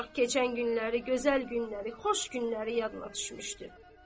Ancaq keçən günləri, gözəl günləri, xoş günləri yadına düşmüşdü.